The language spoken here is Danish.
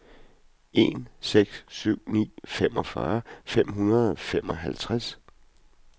en seks syv ni femogfyrre fem hundrede og femoghalvtreds